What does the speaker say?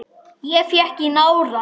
Ég fékk í nárann.